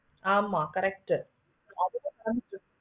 ஹம் net spoil பண்ணிட்டு